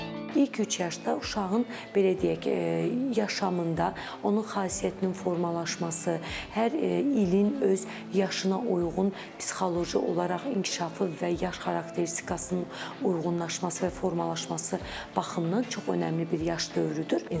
İlk üç yaşda uşağın, belə deyək, yaşamında, onun xasiyyətinin formalaşması, hər ilin öz yaşına uyğun psixoloji olaraq inkişafı və yaş xarakteristikasının uyğunlaşması və formalaşması baxımından çox önəmli bir yaş dövrüdür.